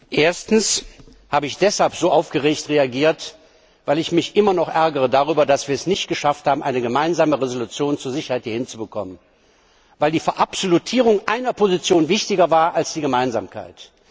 Erstens habe ich deshalb so aufgeregt reagiert, weil ich mich immer noch darüber ärgere, dass wir es nicht geschafft haben, eine Gemeinsame Entschließung zur Sicherheit hinzubekommen, weil die Verabsolutierung einer Position wichtiger war als die Gemeinsamkeit.